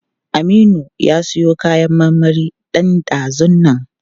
Aminu ya siyo kayan marmari ɗan ɗazun nan.